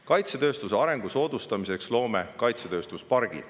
Kaitsetööstuse arengu soodustamiseks loome kaitsetööstuspargi.